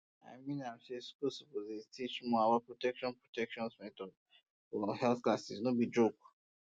i mean am say schools suppose dey teach more about protection protection methods for health class no be joke